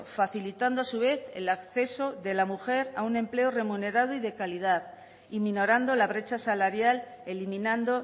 facilitando a su vez el acceso de la mujer a un empleo remunerado y de calidad y minorando la brecha salarial eliminando